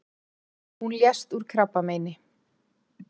Hún lést úr krabbameini.